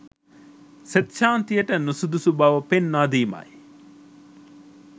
සෙත් ශාන්තියට නුසුදුසු බව පෙන්නා දීමයි.